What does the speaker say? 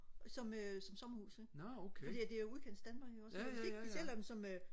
som øh som sommerhus ikke fordi det er jo udkantsdanmark ikke også så hvis ikke de sælger dem som øh